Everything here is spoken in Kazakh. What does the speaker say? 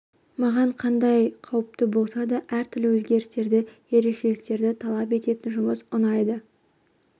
маған қандай қауіпті болса да әртүрлі өзгерістерді ерекшеліктерді талап ететін жұмыс ұнайды